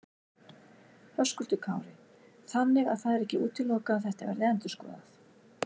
Höskuldur Kári: Þannig að það er ekki útilokað að þetta verði endurskoðað?